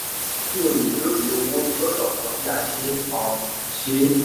kí o lè lóye owó gbọ́dọ̀ kọ́ bí a ṣe um ń ṣe e.